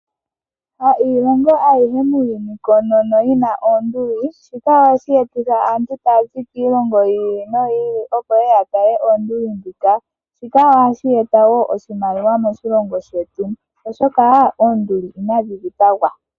Ha iilongo ayihe muuyuni koonono yina oonduli. Shika ohashi etitha aantu taya zi kiilongo yi ili noyi ili opo ye ye ya tale oonduli dhika. Shika ohashi eta wo oshimaliwa moshilongo shetu oshoka oonduli inadhi dhipagwa.